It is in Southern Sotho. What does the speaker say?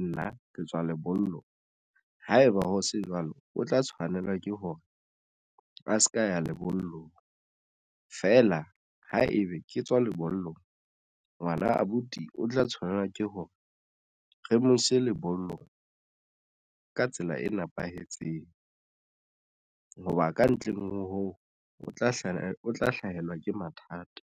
nna ke tswa lebollong. Haeba ho se jwalo, o tla tshwanela ke hore a se ka ya lebollong feela ha ebe ke tswa lebollong ngwana abuti o tla tshwanela ke ho hore re mo ise lebollong ka tsela e nepahetseng. Hoba kantle hoo o tla hlaha o tla hlahelwa ke mathata.